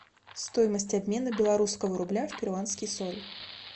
стоимость обмена белорусского рубля в перуанские соли